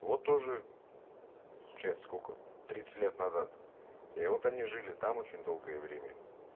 вот тоже получается сколько тридцать лет назад и вот они жили там очень долгое время